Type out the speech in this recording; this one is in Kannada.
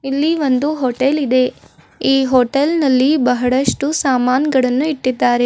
ಇಲ್ಲಿ ಒಂದು ಹೋಟೆಲ್ ಇದೆ ಈ ಹೋಟೆಲ್ನ ಲ್ಲಿ ಬಹಳಷ್ಟು ಸಾಮಾನ್ಗಳನ್ನು ಇಟ್ಟಿದ್ದಾರೆ.